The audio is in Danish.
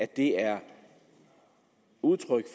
det er